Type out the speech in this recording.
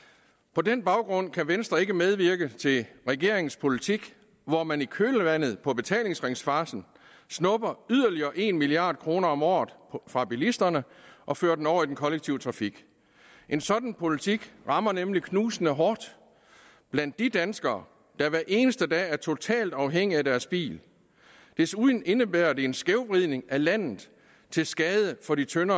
på den baggrund kan venstre ikke medvirke til regeringens politik hvor man i kølvandet på betalingsringsfarcen snupper yderligere en milliard kroner om året fra bilisterne og fører den over i den kollektive trafik en sådan politik rammer nemlig knusende hårdt blandt de danskere der hver eneste dag er totalt afhængige af deres bil desuden indebærer det en skævvridning af landet til skade for de tyndt